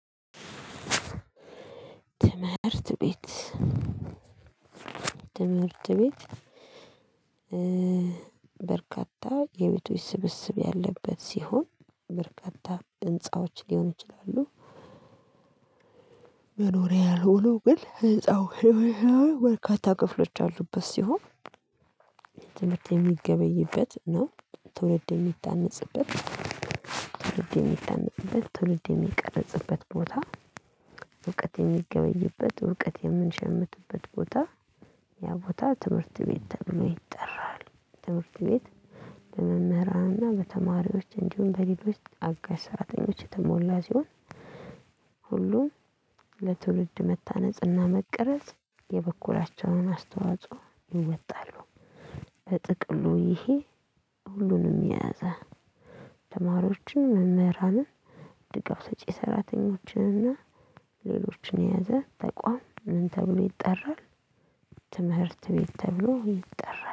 ትምህርት ቤት ትምህርት ቤት በርካታ የቤቶች ስብስብ ያለበት ሲሆን በርካታ ህንፃዎች ሊሆን ይችላሉ መኖሪያ ያልሆኑ ግን ህንፃው በርካታ ክፍሎች ያሉበት ሲሆን ትምህርት የሚገበይበት ነው ትውልድ የሚታነጽበት ትውልድ የሚታነፅበት ትውልድ የሚቀርጽበት ቦታ እውቀት የሚገበይበት እውቀት የምንሸምትበት ቦታ ያ ቦታ ትምህርት ቤት ተብሎ ይጠራል ትምህርት ቤት በመምህራንና በተማሪዎች እንዲሁም በሌሎች አጋሽ ሰራተኞች የተሞላ ሲሆን ሁሉም ለትውልድ መታነጽና መቀረጽ የበኩላቸውን አስተዋጽኦ ይወጣሉ በጥቅሉ ይሄ ሁሉንም የያዘ ተማሪዎችን መምህራንን ድጋፍ ሰጪ ሰራተኞችን እና ሌሎችን የያዘ ተቋም ምን ተብሎ ይጠራል ትምህርት ቤት ተብሎ ይጠራል።